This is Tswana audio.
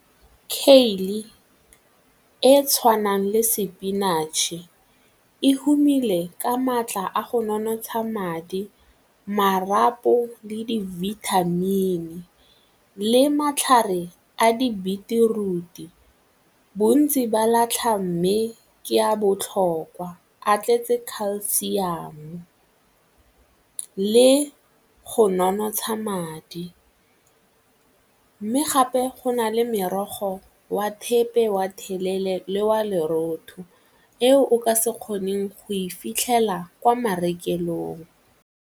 e tshwanang le sepinatšhe e humile ka maatla a go nonotsha madi, marapo le di-vitamin le matlhare a di-beetroot-e. Bontsi ba latlha mme ke a botlhokwa a tletse calcium le go nonotsha madi mme gape go nale merogo wa thepe wa delele le wa lerotho, eo o ka se kgoneng go e fitlhela kwa marekelong.